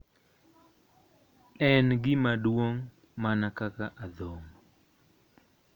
En gimaduong' mana kaka adhong.